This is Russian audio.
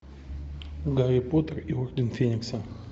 гарри поттер и орден феникса